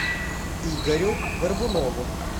игорю горбунову